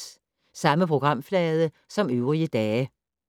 Samme programflade som øvrige dage